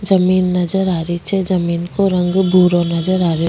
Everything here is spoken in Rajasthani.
जमीन नजर आ रही छे जमीन को रंग भूरो नजर आ रहियो।